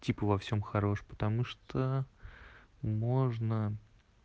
типо во всём хорош потому что можно